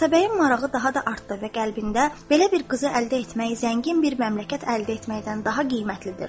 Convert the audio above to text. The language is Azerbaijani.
Atabəyin marağı daha da artdı və qəlbində belə bir qızı əldə etməyi zəngin bir məmləkət əldə etməkdən daha qiymətlidir dedi.